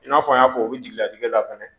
I n'a fɔ n y'a fɔ u bɛ jigilatigɛ la fɛnɛ